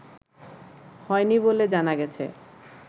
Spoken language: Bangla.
হয়নি বলে জানা গেছে